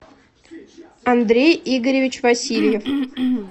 андрей игоревич васильев